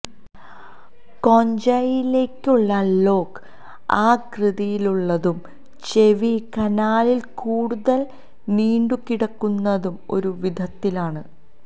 കോൺഞ്ചയിലേക്കുള്ള lock ആകൃതിയിലുള്ളതും ചെവി കനാലിൽ കൂടുതൽ നീണ്ടുകിടക്കുന്നതും ഒരു വിധത്തിലാണ്